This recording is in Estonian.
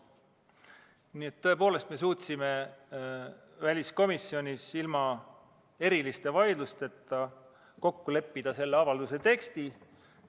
Nii et tõepoolest, me suutsime väliskomisjonis ilma eriliste vaidlusteta kokku leppida selle avalduse tekstis.